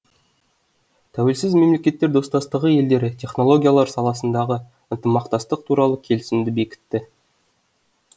тәуелсіз мемлекеттер достастығы елдері технологиялар саласындағы ынтымақтастық туралы келісімді бекітті